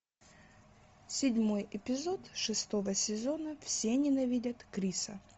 седьмой эпизод шестого сезона все ненавидят криса